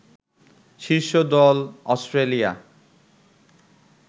শীর্ষ দল অস্ট্রেলিয়া